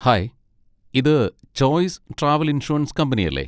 Hi, ഇത് choice travel insurance കമ്പനിയല്ലേ?